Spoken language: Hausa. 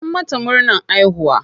An mata murnan haihuwa?